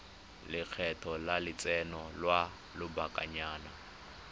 lekgetho la lotseno lwa lobakanyana